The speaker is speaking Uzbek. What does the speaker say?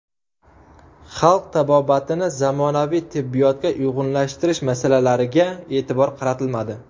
Xalq tabobatini zamonaviy tibbiyotga uyg‘unlashtirish masalalariga e’tibor qaratilmadi.